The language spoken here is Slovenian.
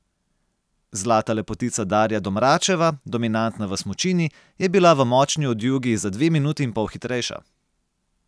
Zlata lepotica Darja Domračeva, dominantna v smučini, je bila v močni odjugi za dve minuti in pol hitrejša.